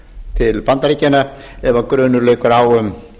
til bandaríkjanna ef grunur leikur á um